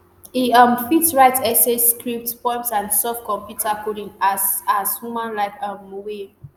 e um fit write essays scripts poems and solve computer coding as as humanlike um way